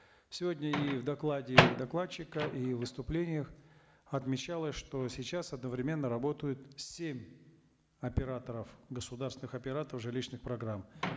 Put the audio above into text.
сегодня и в докладе докладчика и в выступлениях отмечалось что сейчас одновременно работают семь операторов государственных операторов жилищных программ